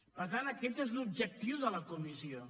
per tant aquest és l’objectiu de la comissió